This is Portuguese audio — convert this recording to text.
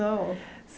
Não.